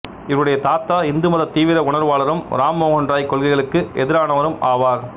இவருடைய தாத்தா இந்துமதத் தீவிர உணர்வாளரும் இராம் மோகன் ராய் கொள்கைகளுக்கு எதிரானவரும் ஆவார்